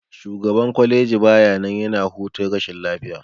Shugaban kwaleji baya nan, yana hutun rashin lafiya.